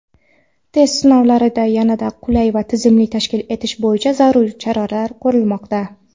test-sinovlarini yanada qulay va tizimli tashkil etish bo‘yicha zaruriy choralar ko‘rilmoqda.